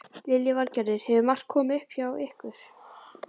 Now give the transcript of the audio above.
Lillý Valgerður: Hefur margt komið upp á hjá ykkur?